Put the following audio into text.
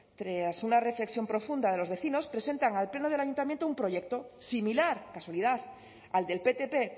tras una reflexión profunda de los vecinos presentan al pleno del ayuntamiento un proyecto similar casualidad al del ptp